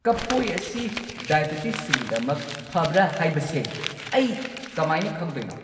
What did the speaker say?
ꯀꯐꯣꯏ ꯑꯁꯤ ꯗꯥꯢꯕꯤꯇꯤꯁꯁꯤꯡꯒꯤꯗꯃꯛ ꯐꯕ꯭ꯔ ꯍꯥꯏꯕꯁꯦ ꯑꯩ ꯀꯃꯥꯏꯅ ꯈꯪꯗꯣꯏꯅꯣ?